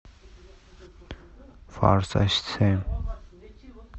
форсаж семь